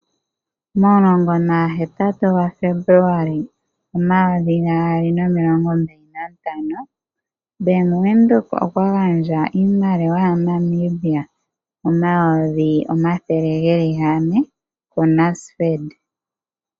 Momulongo nagahetatu gaFebuluali omayovi gaali nomilongo mbali nantano Bank Windhoek okwa gandja iimaliwa yaNamibia omayovi omathele ge li gane kuNasfed.